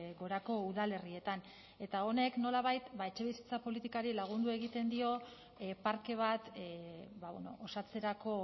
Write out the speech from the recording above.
gorako udalerrietan eta honek nolabait etxebizitza politikari lagundu egiten dio parke bat osatzerako